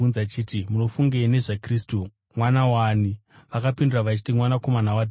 “Munofungei nezvaKristu? Mwana waani?” Vakapindura vachiti, “Mwanakomana waDhavhidhi.”